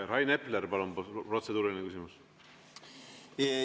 Rain Epler, palun, protseduuriline küsimus!